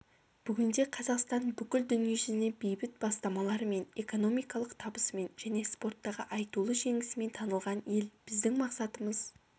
бүгінде қазақстан бүкіл дүниежүзіне бейбіт бастамаларымен экономикалық табысымен және спорттағы айтулы жеңісімен танылған ел біздің мақсатымыз